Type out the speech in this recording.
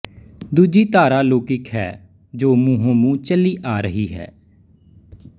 ਦੂਜੀ ਧਾਰਾ ਲੌਕਿਕ ਹੈ ਜੋ ਮੂੰਹੋਂ ਮੂੰਹ ਚਲੀ ਆ ਰਹੀ ਹੈ